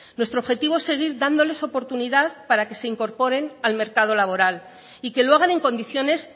nuestro objetivo es seguir dándoles oportunidad para que se incorporen al mercado laboral y que lo hagan en condiciones